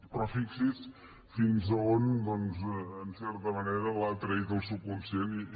però fixi’s fins a on doncs en certa manera l’ha traït el subconscient i